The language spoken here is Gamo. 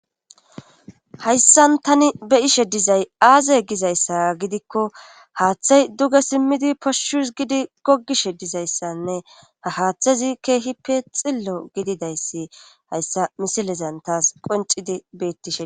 hayssan tani be ishe dizay aaze gizayssa gidikko haaththay duge simmidi poshshus gidi gogishe dizayssanne ha haaththezi keehippe xillo gididayssi hayssa misilezan taas qoncidi beettishe